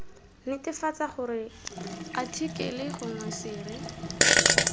netefatsa gore athikele gongwe sere